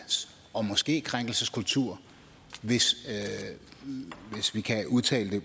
og måske krænkelseskultur hvis vi kan udtale